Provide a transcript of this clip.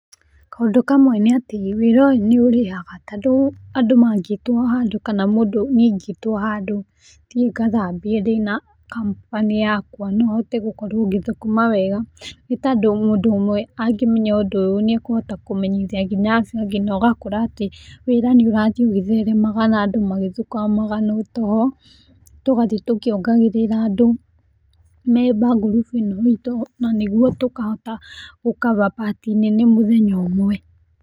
Kaũndũ kamwe nĩ atĩ wĩra ũyũ nĩurĩhaga tondũ andũ mangĩtwo handũ kana mũndũ niĩ ingĩtwo handũ thiĩ ngathambie ndĩna company yakwa no hote gũkorwo ngĩthũkũma wega, nĩ tondũ mũndũ ũmwe angĩmenya ũndũ ũyũ, nĩ akũhota kũmenyithia nginya acio angĩ na ũgakora atĩ wĩra nĩ ũrathiĩ ũgĩtheremaga, na andũ magĩthũkũmaga na ũtugo. Tũgathiĩ tũkĩongagĩrĩra andũ memba ngurubu ĩno itũ, na nĩguo tũkahota gũkaba pati nene mũthenya ũmwe.